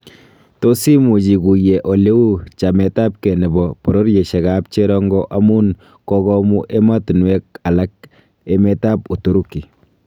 Tot imuch iguye eleu chametabge nebo bororyoshiek ab Cherongo amun kogomuu emotunwek alak emetab Uturuki